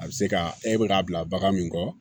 A bɛ se ka e bɛ k'a bila bagan min kɔ